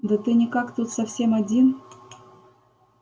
да ты никак тут совсем один